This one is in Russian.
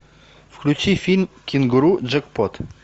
включи фильм кенгуру джекпот